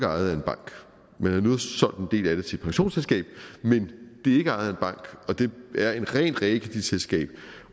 ejet af en bank men har nu solgt en del af det til et pensionsselskab men det er ikke ejet af en bank og det er et rent realkreditselskab